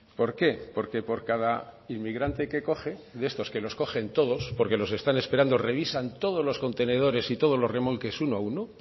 por qué porque por cada inmigrante que coge de estos que los cogen todos porque los están esperando revisan todos los contenedores y todos los remolques uno a uno